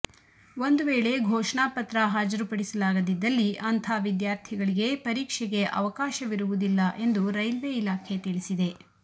ಒಂದು ವೇಳೆ ಘೋಷಣಾ ಪತ್ರ ಹಾಜರುಪಡಿಸಲಾಗದಿದ್ದಲ್ಲಿ ಅಂಥ ವಿದ್ಯಾರ್ಥಿಗಳಿಗೆ ಪರೀಕ್ಷೆಗೆ ಅವಕಾಶವಿರುವುದಿಲ್ಲ ಎಂದು ರೈಲ್ವೆ ಇಲಾಖೆ ತಿಳಿಸಿದೆ